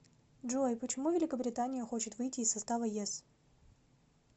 джой почему великобритания хочет выйти из состава ес